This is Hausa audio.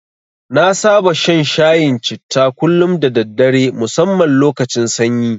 Na saba shan shayin citta kullum da daddare musamman lokacin sanyi.